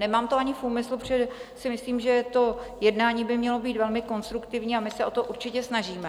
Nemám to ani v úmyslu, protože si myslím, že to jednání by mělo být velmi konstruktivní, a my se o to určitě snažíme.